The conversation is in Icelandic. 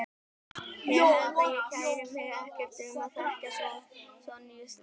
Ég held að ég kæri mig ekkert um að þekkja Sonju lengur.